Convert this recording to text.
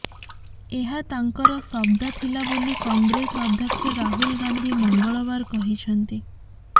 ଏହା ତାଙ୍କର ଶବ୍ଦ ଥିଲା ବୋଲି କଂଗ୍ରେସ ଅଧ୍ୟକ୍ଷ ରାହୁଲ ଗାନ୍ଧି ମଙ୍ଗଳବାର କହିଛନ୍ତି